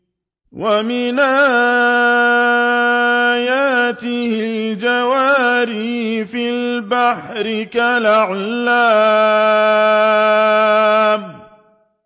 وَمِنْ آيَاتِهِ الْجَوَارِ فِي الْبَحْرِ كَالْأَعْلَامِ